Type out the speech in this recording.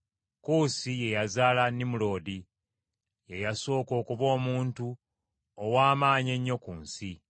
Kuusi ye yazaala Nimuloodi; ye yasooka okuba omuntu ow’amaanyi ennyo ku nsi.